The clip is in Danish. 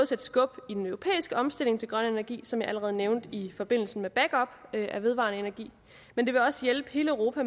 sætte skub i den europæiske omstilling til grøn energi som jeg allerede nævnte i forbindelse med backup af vedvarende energi men også hjælpe hele europa